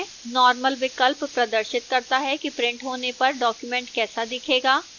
normal विकल्प प्रदर्शित करता है कि printed होने पर document कैसा दिखेगा